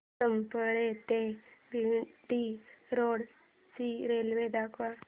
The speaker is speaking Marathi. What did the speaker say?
सफाळे ते भिवंडी रोड ची रेल्वे दाखव